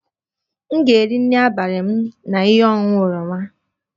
M ga-eri nri abalị m na ihe ọṅụṅụ oroma